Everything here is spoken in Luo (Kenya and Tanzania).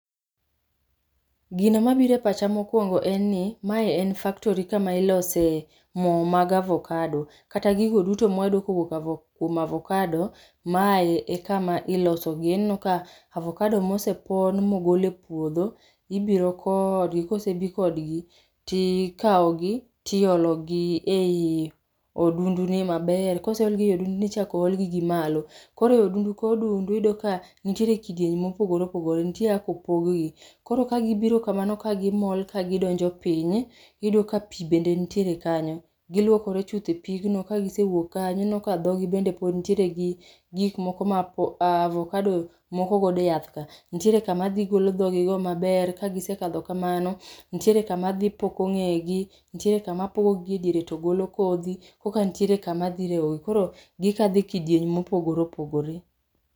Gino mabire pacha mokwongo enni, maen factory kama ilose moo mag avokado , kata gigo duto mwayudo kowuok avo kwom avokado, mae e kama ilosogie, ineno ka avokado mosepon mogol e pwodho ibiro kodgi, kosebii kodgi tikao gi tiologi ei odundu ni maber, koseologi e odunduni ichako olgi gi malo. Koro ei odundu ka odundu iyudo ka nitiere kidienje mopogore opogore, ntie kaka opoggi. Koro kagibiro kamano kagimol kagidonjo piny, iyudo ka pii bende ntiere kanyo. Gilwokore chuth e pigno kagisewuok kanyo ineno ke dhogi bende pod ntiere gi gik moko ma apo avokado mokogodo e yath ka, ntiere kama dhi golo dhogigo maber kagisekadho kamano, ntiere kama dhi poko ng'egi, ntiere kama pogogi e diere to golo kodhi, koka ntie kama dhi regogi, koro gikalo e kidieny mopogore opogore.